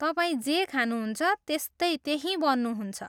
तपाईँ जे खानुहुन्छ, त्यस्तै त्यही बन्नुहुन्छ।